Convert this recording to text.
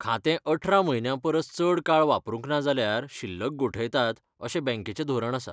खातें अठरा म्हयन्यां परस चड काळ वापरूंक ना जाल्यार शिल्लक गोठयतात, अशें बँकेचें धोरण आसा